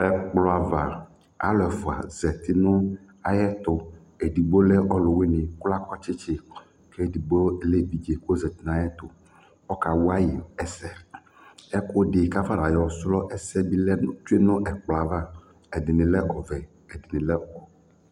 Ɛkplɔ ava, alʋ ɛfʋa zati nʋ ayɛtʋ Edigbo lɛ ɔlʋwɩnɩ kʋ akɔ tsɩtsɩ kʋ edigbo lɛ evidze kʋ ɔzati nʋ ayɛtʋ Ɔkawa yɩ ɛsɛ Ɛkʋɛdɩ kʋ afɔnayɔ srɔ ɛsɛ lɛ tsue nʋ ɛkplɔ yɛ ava Ɛdɩnɩ lɛ ɔvɛ, ɛdɩnɩ lɛ